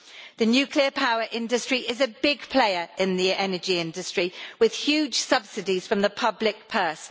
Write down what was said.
The nuclear power industry is a big player in the energy industry, with huge subsidies from the public purse.